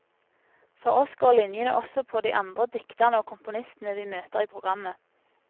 For oss går linjene også på de andre dikterne og komponistene vi møter i programmet.